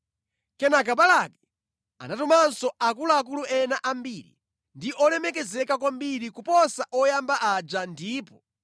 Kenaka Balaki anatumanso akuluakulu ena ambiri ndi olemekezeka kwambiri kuposa oyamba aja ndipo